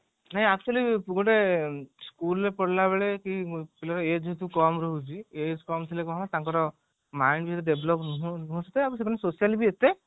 ନାଇଁ actually ଗୋଟେ school ରୁ ଫେରିଲା ବେଳେ କି ପିଲାର age ଯେହେତୁ କମ ରହୁଛି age କମ ଥିଲେ କଣ ହବ ତାଙ୍କର mind develop ତ ସେଥିପାଇଁ social ବି ଏତେ